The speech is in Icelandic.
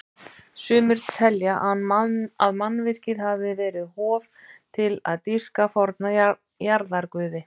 Sumir telja að mannvirkið hafi verið hof til að dýrka forna jarðarguði.